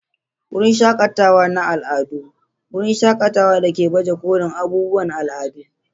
Wurin shakatawa na al'adu: wurin shakatawa da ke baje kolin abubuwan al'adu.